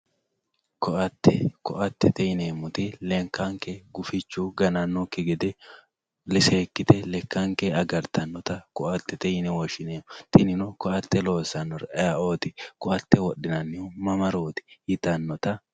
koatte koattete yineemmoti lekkanke gufichu ganannokki gede seekkite agartannonketa koatetet yine woshshineemmo tinino koatte loossannori ayeeooti? koatte wodhinannihu mamarooti yitannota...